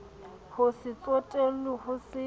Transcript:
ho se tsotellwe ho se